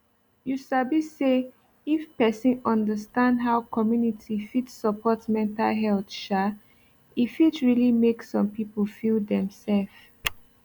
you sabi say if person understand how community fit support mental health um e fit really make some people feel dem sef